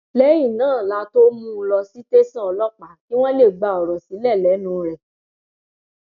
lẹyìn náà la tóó mú un lọ sí tẹsán ọlọpàá kí wọn lè gba ọrọ sílẹ lẹnu rẹ